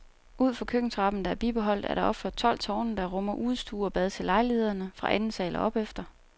Ud for køkkentrappen, der er bibeholdt, er der opført tolv tårne, der rummer udestue og bad til lejlighederne fra anden sal og opefter.